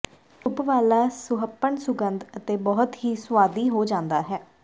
ਇਹ ਧੁੱਪ ਵਾਲਾ ਸੁਹੱਪਣ ਸੁਗੰਧ ਅਤੇ ਬਹੁਤ ਹੀ ਸੁਆਦੀ ਹੋ ਜਾਂਦਾ ਹੈ